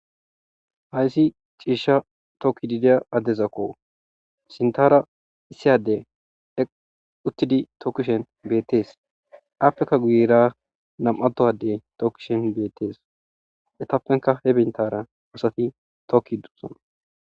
Hayssi ciisha tokki dideya addezakko sintara issiyade eq uttidi tokishen bettees afrika guyera nam'adoadey tokkishen bettees etappenka he bintara woosati tokki dusana.